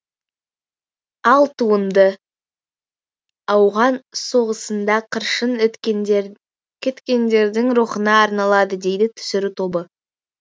ал туынды ауған соғысында қыршын кеткендердің рухына арналады дейді түсіру тобы